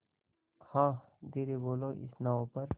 हाँ धीरे बोलो इस नाव पर